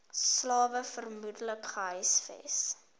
slawe vermoedelik gehuisves